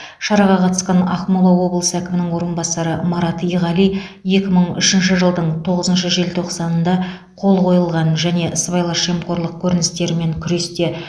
шараға қатысқан ақмола облысы әкімінің орынбасары марат иғали екі мың үшінші жылдың тоғызыншы желтоқсанында қол қойылған және сыбайлас жемқорлық көріністерімен күресте